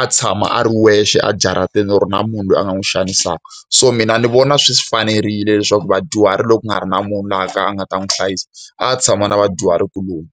a tshama a ri wexe ejaratini or na munhu loyi a nga n'wi xanisaka. So mina ni vona swi fanerile leswaku vadyuhari loko ku nga ri na munhu loyi a ka a nga ta n'wi hlayisa, a ya tshama na vadyuhari kuloni.